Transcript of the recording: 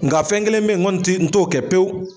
Nga fɛn kelen be ye n kɔni ti n t'o kɛ pewu